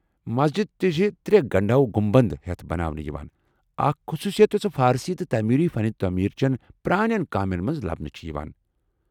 مسجدِ تہِ چھِ ترٛےٚ گنٛڈٕ ہِوِ گمنبد ہیتھ بناونہٕ یوان ، اكھ خصوصیت یوسہٕ فارسی تہٕ تیموری فن تعمیر چین پرٛانین كامین منز لبنہٕ یوان چھے٘ ۔